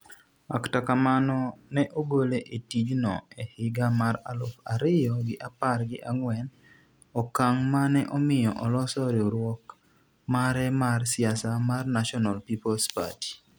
akta kamano ne ogole e tij no e higa mar aluf ariyo gi apar gi ang'wen ,okang' mane omiyo oloso riwruok mare mar siasa mar National Peoples' Party